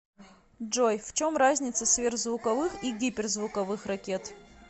джой в чем разница сверхзвуковых и гиперзвуковых ракет